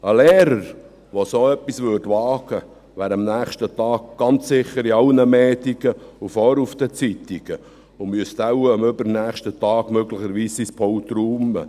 Ein Lehrer, der so etwas wagen würde, wäre am nächsten Tag ganz bestimmt in sämtlichen Medien und vorn auf den Zeitungen und müsste am übernächsten Tag möglicherweise sein Pult räumen.